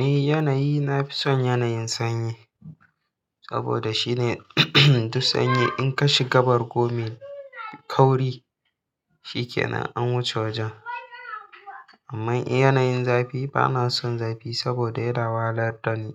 Eh yanayi nafi son yanayin sanyi saboda shine duk sanyi in ka shiga bargome kauri, shi ke nan an wuce wajen. Amma in yanayin zafi, ba na son zafi saboda yana wahalar da ni